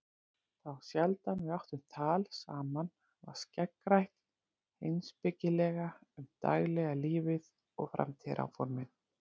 Þá sjaldan við áttum tal saman var skeggrætt heimspekilega um daglega lífið og framtíðaráformin.